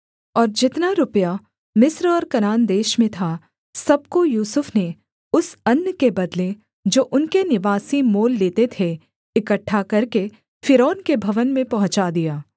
और जितना रुपया मिस्र और कनान देश में था सब को यूसुफ ने उस अन्न के बदले जो उनके निवासी मोल लेते थे इकट्ठा करके फ़िरौन के भवन में पहुँचा दिया